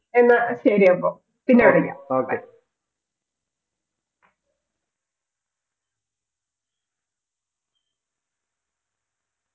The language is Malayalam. എന്നാ ശരിയപ്പോ പിന്നെ വിളിക്കാം bye